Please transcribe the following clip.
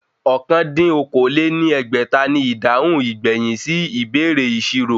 Ọ̀kan dín ní okòó-lé-ní-ẹgbẹ́ta ni ìdáhùn ìgbẹ̀yìn sí ìbéèrè ìṣirò